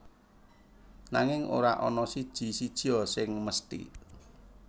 Nanging ora ana siji sijia sing mesthi